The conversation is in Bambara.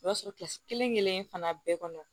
O b'a sɔrɔ kelenkelen fana bɛɛ kɔnɔ